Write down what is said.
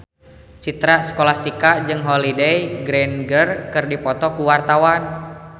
Citra Scholastika jeung Holliday Grainger keur dipoto ku wartawan